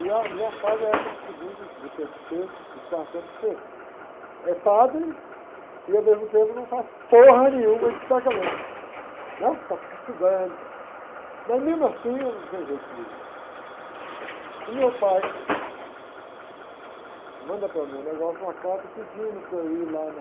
e a melhor fase é essa do segundo, e do terceiro e quarto ano que você é padre e ao mesmo tempo não faz nenhuma de sacramento, né? Só fica estudando e tal, mas mesmo assim não tem jeito comigo, né? O meu pai manda para mim um negócio, uma carta pedindo para eu ir lá na